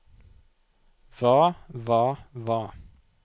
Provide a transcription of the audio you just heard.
hva hva hva